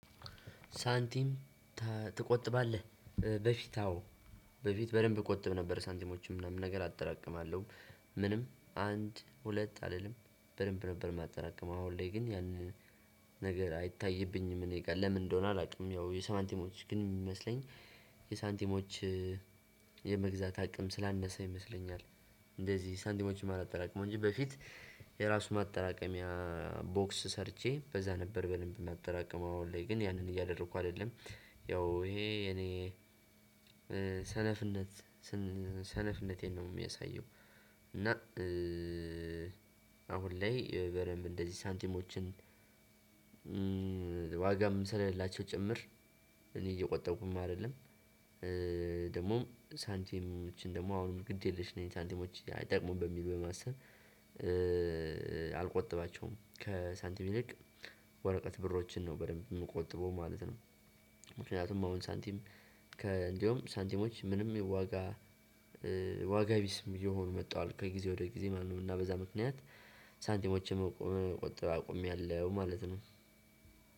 ሳንቲም ትቆጥባለህ? በፊት አዎ በፊት በደንብ እቆጥብ ነበር ሳንቲሞችም ምናምን ነገር አጠራቅማለሁ። ምንም አንድ ሁለት አይደለም በደንብ ነበር የማጠራቅመው። አሁን ላይ ግን ያንን ነገር አይታይብኝም እኔ ጋር። ለምን እንደሆነ አላውቅም። ያው የሳንቲሞች ግን የሚመስለኝ የሳንቲሞች- የመግዛት አቅም ስላነሰ ይመስለኛል። እንደዚህ ሳንቲሞች ማላጠራቅመው እንጂ በፊት- የራሱ ማጠራቀሚያ ቦክስ ሰርቼ በዛ ነበር በደንብ ማጠራቀም። አሁን ላይ ግን ያንን እያደረኩ አይደለም። ያው ይሄ የኔ ሰነፍነት ሰነፍነቴን ነው የሚያሳየው። እና- አሁን ላይ በደንብ እንደዚህ ሳንቲሞችን- ዋጋም ስለሌላቸው ጭምር እኔ እየቆጠብኩም አይደለም። ደግሞ ሳንቲሞችን ደግሞ አሁን ግድ የለሽ ነኝ። ሳንቲሞች አይጠቅሙም በሚል በማሰብ። አልቆጥባቸውም ከሳንቲም ይልቅ ወረቀት ብሮችን ነው በደንብ የምቆጥበው ማለት ነው። ምክንያቱም አሁን ሳንቲም ከእንደውም ሳንቲሞች ምንም የዋጋ ዋጋ ቢስም እየሆኑ መጣዋል ከጊዜ ወደ ጊዜ ማለት ነው። እና በዛ ምክንያት- ሳንቲሞችን መቆጠብ አቁሜያለሁ ማለት ነው።